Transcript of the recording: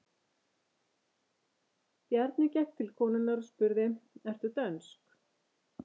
Bjarni gekk til konunnar og spurði: Ertu dönsk?